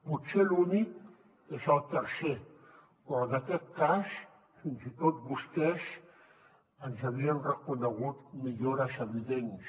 potser l’únic és el tercer però en aquest cas fins i tot vostès ens havien reconegut millores evidents